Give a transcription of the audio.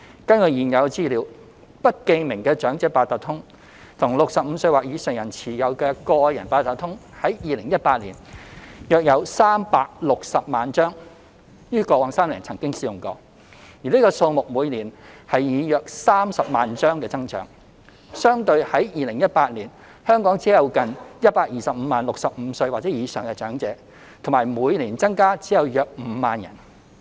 根據現有資料，不記名的長者八達通卡及65歲或以上人士持有的個人八達通卡，於2018年約有360萬張於過往3年曾經使用，而這數目以每年約30萬張增長，相對於2018年，香港只有近125萬名65歲或以上的長者，以及每年增加只有約5萬人。